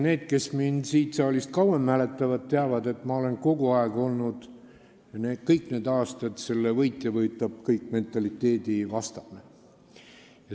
Need, kes mind siin saalis kauem mäletavad, teavad, et ma olen kogu aeg, kõik need aastad olnud selle võitja-võtab-kõik-mentaliteedi vastu.